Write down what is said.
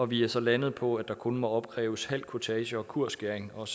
vi er så landet på at der kun må opkræves halv kurtage og kursskæring og